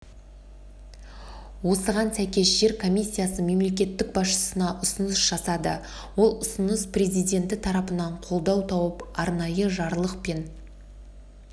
осыған сәйкес жер комиссиясы мемлекет басшысына ұсыныс жасады ол ұсыныс президенті тарапынан қолдау тауып арнайы жарлықпен